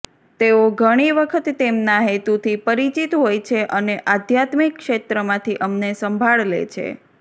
તેઓ ઘણી વખત તેમના હેતુથી પરિચિત હોય છે અને આધ્યાત્મિક ક્ષેત્રમાંથી અમને સંભાળ લે છે